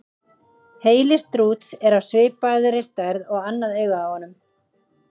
Heili strúts er af svipaði stærð og annað augað á honum.